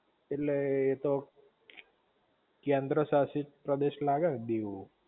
ઍટલે એ તો કેન્દ્રશાશિત પ્રદેશ લાગે હ દીવ